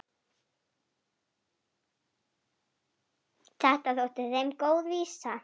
Þetta þótti þeim góð vísa.